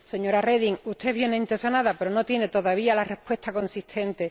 Señora Reding, usted es bienintencionada, pero no tiene todavía la respuesta consistente.